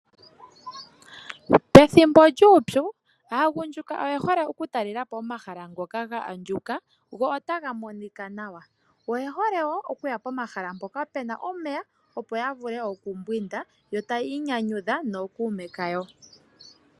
Pethimbo lyuupyu aagundjuka oye hole oku talelapo omahala ngoka ga andjuka gwo otaga monika nawa, oye hole wo okuya pomahala mpoka pena omeya opo ya vule oku mbwinda yo taya inyanyudha nookuume kayo.